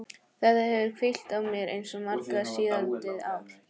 Þetta hefur hvílt á mér eins og mara síðastliðið ár.